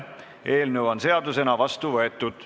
Eelnõu on seadusena vastu võetud.